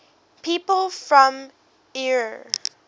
people from eure